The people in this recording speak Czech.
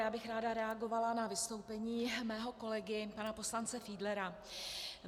Já bych ráda reagovala na vystoupení mého kolegy, pana poslance Fiedlera.